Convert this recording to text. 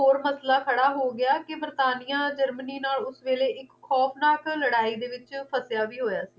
ਮਸਲਾ ਖੜਾ ਹੋ ਗਿਆ ਕਿ ਬਰਤਾਨੀਆ ਜਰਮਨੀ ਨਾਲ ਉਸ ਵੇਲੇ ਇੱਕ ਖੌਫਨਾਕ ਲੜਾਈ ਦੇ ਵਿੱਚ ਫਸਿਆ ਵੀ ਹੋਇਆ ਸੀ